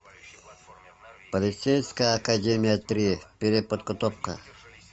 полицейская академия три переподготовка